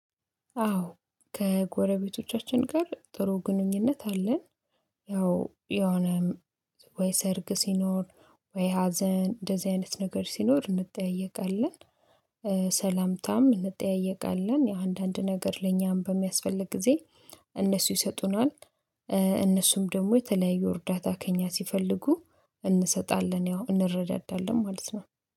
አዎ ከጎረቤቶቻችን ጋር ጥሩ ግንኙነት አለን። ያው የሆነም ወይ ሰርግ ሲኖር ወይ ሀዘን እንደዚህ አይነት ነገር ሲኖር እንጠያየቃለን። ሰላምታም እንጠያየቃለን የአንዳንድ ነገር ለእኛም በሚያስፈልግ ጊዜ እነሱ ይሰጡናል። እነሱም ደግሞ የተለያዩ እርዳታ ከእኛ ሲፈልጉ እንሰጣለን ያው እንረዳዳለን ማለት ነው